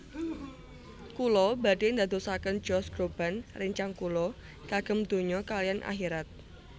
Kula badhe ndadosaken Josh Groban rencang kula kagem donya kaliyan akhirat